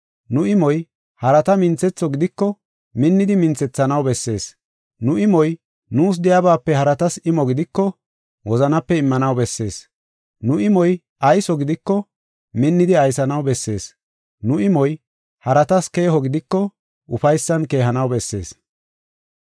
Nu imoy harata minthetho gidiko, minnidi minthethanaw bessees. Nu imoy nuus de7iyabaape haratas imo gidiko, wozanape immanaw bessees. Nu imoy ayso gidiko, minnidi aysanaw bessees. Nu imoy haratas keeho gidiko, ufaysan keehanaw bessees.